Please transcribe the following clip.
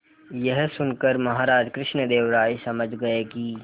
यह सुनकर महाराज कृष्णदेव राय समझ गए कि